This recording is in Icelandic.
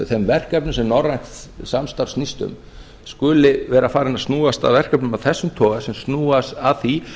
þeim verkefnum sem norrænt samstarf snýst um skuli vera farið að snúast að verkefnum af þessum toga sem snúa að því